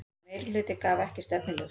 Meirihluti gaf ekki stefnuljós